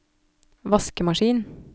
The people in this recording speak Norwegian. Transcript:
vaskemaskin